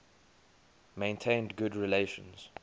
maintained good relations